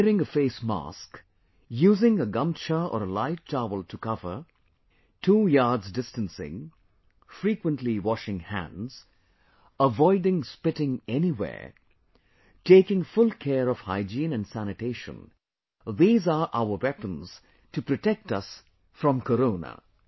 Wearing a face mask, using a gamchcha or a light towel to cover, two yard distancing, frequently washing hands, avoiding spitting anywhere, taking full care of hygiene & sanitation these are our weapons to protect us from Corona